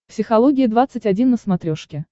психология двадцать один на смотрешке